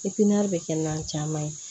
bɛ kɛ nan caman ye